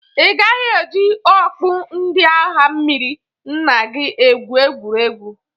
Ị gaghị e ji okpu ndị agha mmiri nna gi ekwu egwuregwu.